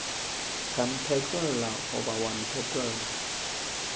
ka mphetlolla goba wa mpetolla